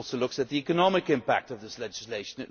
It also looks at the economic impact of this legislation.